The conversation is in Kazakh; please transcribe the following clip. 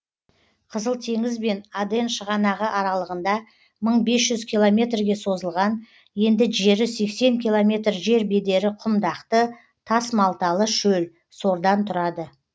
қызыл теңіз бен аден шығанағы аралығында мың бес жүз километрге созылған енді жері сексен километр жер бедері құмдақты тасмалталы шөл сордан тұрады